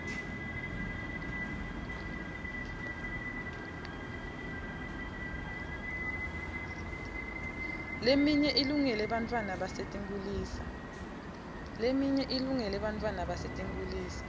leminye ilungele bantfwana basetinkhulisa